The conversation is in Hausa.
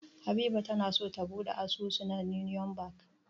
Habiba na so ta buɗe asusu da Union Bank.